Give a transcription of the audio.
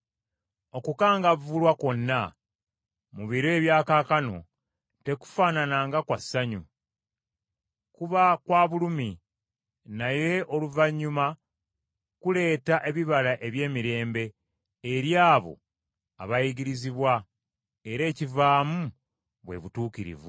Okukangavvulwa kwonna mu biro ebya kaakano tekufaanana nga kwa ssanyu, kuba kwa bulumi, naye oluvannyuma kuleeta ebibala eby’emirembe eri abo abayigirizibwa, era ekivaamu bwe butuukirivu.